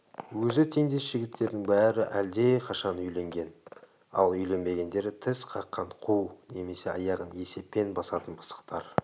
өзі теңдес жігіттердің бәрі әлдеқашан үйленген ал үйленбегендері тіс қаққан қу немесе аяғын есеппен басатын пысықтар